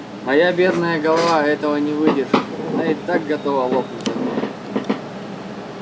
моя бедная голова этого не выдержит она и так готова лопнуть от боли